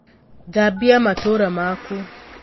Thambia matūra maku.